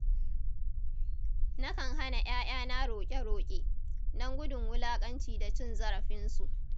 Na kan hana 'ya'yana roƙe-roƙe, don gudun wulaƙanci da cin zarafinsu.